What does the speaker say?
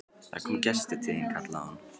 Það er kominn gestur til þín, kallaði hún.